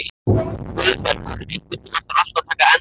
Guðbergur, einhvern tímann þarf allt að taka enda.